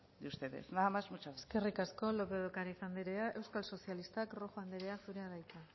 de ustedes nada más muchas gracias eskerrik asko lópez de ocariz anderea euskal sozialistak rojo anderea zurea da hitza